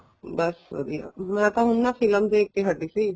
ਬੱਸ ਵਧੀਆ ਮੈਂ ਤਾਂ ਹੁਣ ਨਾ ਫਿਲਮ ਦੇਖ ਕੇ ਹਟੀ ਸੀ